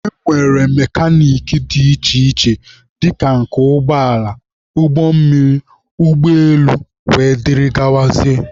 E nwere mekanik dị iche iche dịka nke ụgbọala, ụgbọ mmiri, ụgbọ elu wdg.